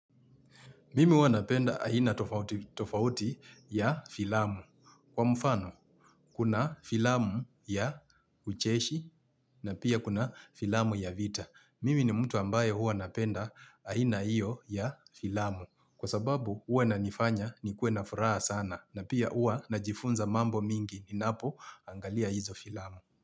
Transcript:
Mimi huwa napenda ahina tofauti tofauti ya filamu. Kwa mfano, kuna filamu ya ucheshi na pia kuna filamu ya vita. Mimi ni mtu ambaye huwa napenda ahina iyo ya filamu. Kwa sababu huwa na nifanya ni kue na furaha sana na pia huwa na jifunza mambo mingi ni napo angalia hizo filamu.